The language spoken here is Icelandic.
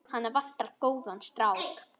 Hana vantar góðan strák.